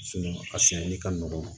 a siyɛnli ka nɔgɔn